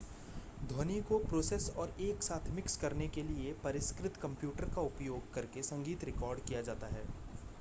ध्वनि को प्रोसेस और एक साथ मिक्स करने के लिए परिष्कृत कंप्यूटर का उपयोग करके संगीत रिकॉर्ड किया जाता है